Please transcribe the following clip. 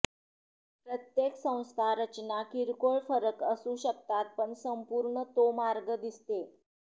प्रत्येक संस्था रचना किरकोळ फरक असू शकतात पण संपूर्ण तो मार्ग दिसते